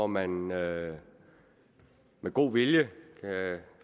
man med med god vilje